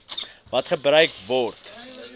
wat gebruik word